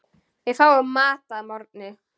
Við fáum mat að morgni.